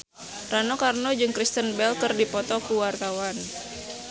Rano Karno jeung Kristen Bell keur dipoto ku wartawan